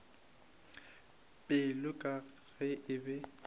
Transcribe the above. pelo ka ge e be